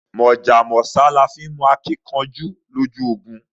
Mojá mósá laa mó akinkanjú lójú ogun